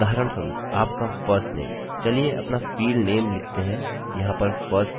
चलिए अपना फील्डनेमfieldname लिखते हैं यहाँ पर firstname है और मेरे पास varchar है